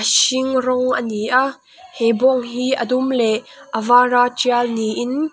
hring rawng a ni a he bawng hi a dum leh a var a tial niin--